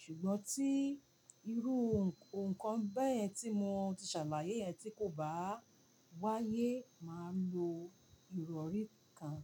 Ṣùgbọ́n tí irú nǹkan bẹ́ẹ̀ tí mo ti ṣàlàyé yẹn tí kò bá wáyé, màá lo ìrọ̀rí kan.